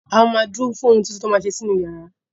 A ma ma dúró fún ohun tuntun tí wọ́n ma ṣe sí inú yàrá